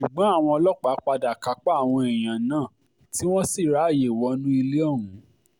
ṣùgbọ́n àwọn ọlọ́pàá padà kápá àwọn èèyàn náà tí wọ́n sì ráàyè wọnú ilé ọ̀hún